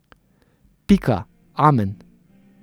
Pika, amen.